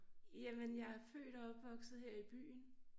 Jamen jeg er født og opvokset her i byen